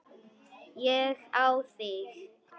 Ég á þig.